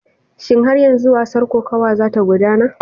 Shin har yanzu gasar kokawa za ta gudana?